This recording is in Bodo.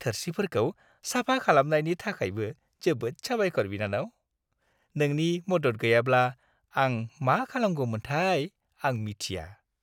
थोरसिफोरखौ साफा खालामनायनि थाखायबो जोबोद साबायखर, बिनानाव! नोंनि मदद गैयाब्ला आं मा खालामगौमोनथाय, आ मिथिया!